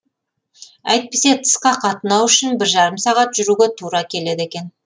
әйтпесе тысқа қатынау үшін бір жарым сағат жүруге тура келеді екен